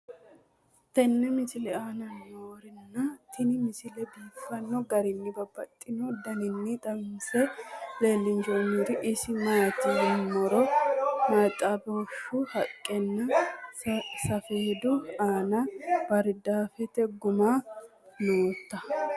tenne misile aana noorina tini misile biiffanno garinni babaxxinno daniinni xawisse leelishanori isi maati yinummoro maxibaashu haqqenna safeeddu aanna baaridaaffete guma nootta